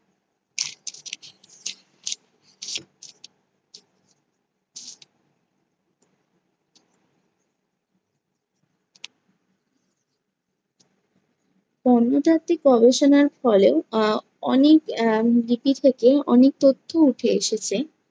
প্রত্নতাত্ত্বিক গবেষণার ফলেও আহ অনেক আহ লিপি থেকে অনেক তথ্য উঠে এসেছে।